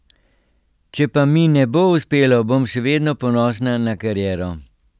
Če pa mi ne bo uspelo, bom še vedno ponosna na kariero.